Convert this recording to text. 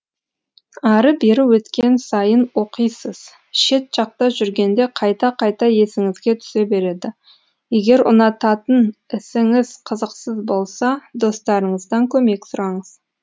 ары бері өткен сайын оқисыз шет жақта жүргенде қайта қайта есіңізге түсе береді егер ұнататын ісіңіз қызықсыз болса достарыңыздан көмек сұраңыз